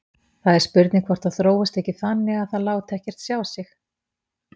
Það er spurning hvort það þróist ekki þannig að það láti ekkert sjá sig.